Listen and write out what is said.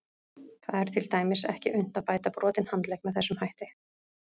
Það er til dæmis ekki unnt að bæta brotinn handlegg með þessum hætti.